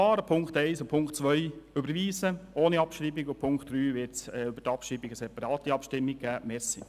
Ziffer 1 und Ziffer 2 überweisen ohne Abschreibung, und zu Ziffer 3 wird es über die Abschreibung eine separate Abstimmung geben.